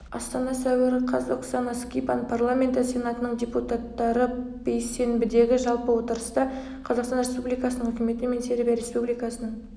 астана сәуір қаз оксана скибан парламенті сенатының депутаттарыбейссенбідегі жалпы отырыста қазақстан республикасының үкіметі мен сербия республикасының